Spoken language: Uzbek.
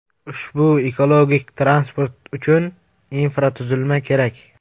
Ushbu ekologik transport uchun infratuzilma kerak.